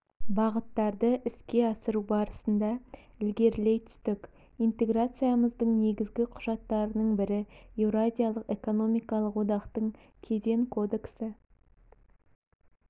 бағыттарды іске асыру барысында ілгерілей түстік интеграциямыздың негізгі құжаттарының бірі еуразиялық экономикалық одақтың кеден кодексі